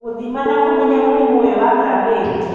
Gũthima na kũmenya mũrimũ ũyũ wa chlamydia